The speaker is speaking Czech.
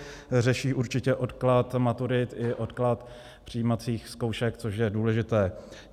Řeší určitě odklad maturit i odklad přijímacích zkoušek, což je důležité.